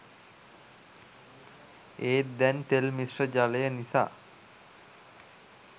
ඒත් දැන් තෙල් මිශ්‍ර ජලය නිසා